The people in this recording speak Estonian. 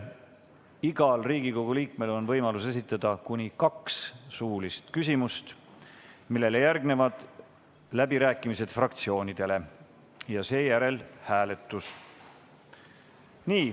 Igal Riigikogu liikmel on võimalus esitada kuni kaks suulist küsimust, mille järel on läbirääkimised fraktsioonidele ja seejärel hääletus.